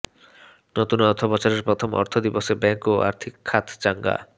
নতুন অর্থবছরের প্রথম কার্যদিবসে ব্যাংক ও আর্থিক খাত চাঙ্গা